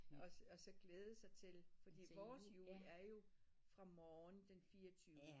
Og og så glæde sig til fordi vores jul er jo fra morgen den fireogtyvende